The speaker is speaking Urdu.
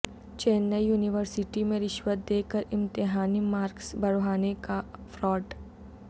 چنئی یونیورسٹی میں رشوت دیکر امتحانی مارکس بڑھوانے کا فراڈ